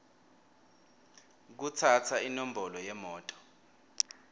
kutsatsa inombolo yemoto